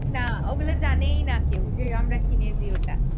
না ওগুলো জানেইনা কেউ যে আমরা কিনেছি ওটা।